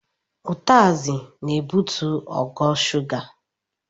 Utasị na-ebutu ogo shuga.